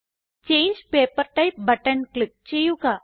ചങ്ങെ paper type button click ചെയ്യുക